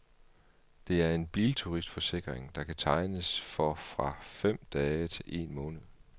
Det er en bilturistforsikring, der kan tegnes for fra fem dage til en måned.